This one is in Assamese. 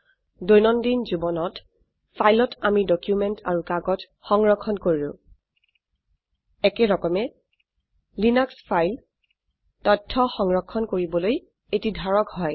দৈনন্দিন জীবনত ফাইলত আমি ডকুমেন্ট আৰু কাগজ সংৰক্ষণ কৰো একেৰকমে লিনাক্স ফাইল তথ্য সংৰক্ষণ কৰিবলৈ এটি ধাৰক হয়